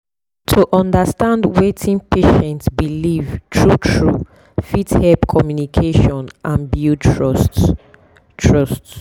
to understand wetin patient believe true true fit help communication and build trust. trust.